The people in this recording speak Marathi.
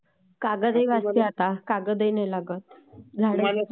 कागदही वाचते आता, कागदही नाही लागत आता,